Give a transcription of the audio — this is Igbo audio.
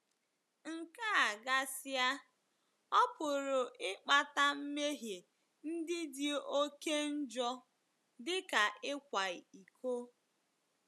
Nke a gasịa, ọ pụrụ ịkpata mmehie ndị dị oké njọ, dị ka ịkwa iko.